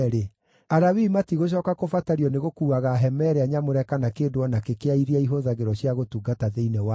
Alawii matigũcooka kũbatario nĩgũkuuaga hema ĩrĩa nyamũre kana kĩndũ o nakĩ kĩa iria ihũthagĩrwo cia gũtungata thĩinĩ wayo.”